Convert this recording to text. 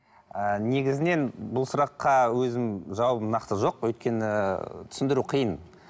ы негізінен бұл сұраққа өзім жауабым нақты жоқ өйткені түсіндіру қиын